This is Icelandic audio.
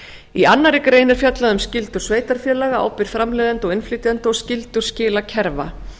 í annarri grein er fjallað um skyldur sveitarfélaga ábyrgð framleiðenda og innflytjenda og skyldur skilakerfa